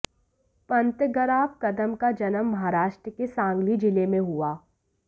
पतंगराव कदम का जन्म महाराष्ट्र के सांगली जिले में हुआ